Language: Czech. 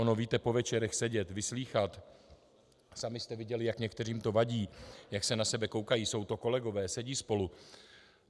Ono, víte, po večerech sedět, vyslýchat, sami jste viděli, jak některým to vadí, jak se na sebe koukají, jsou to kolegové, sedí spolu.